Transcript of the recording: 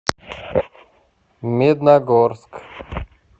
медногорск